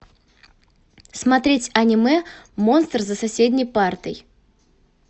смотреть аниме монстр за соседней партой